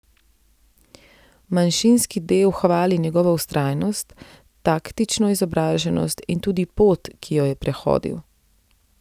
Manjšinski del hvali njegovo vztrajnost, taktično izobraženost in tudi pot, ki jo je prehodil.